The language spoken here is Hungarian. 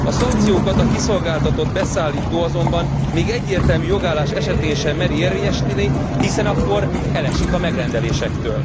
A szankciókat a kiszolgáltatott beszállító azonban még egyértelmű jogállás esetén sem meri érvényesíteni, hiszen akkor elesik a megrendelésektől.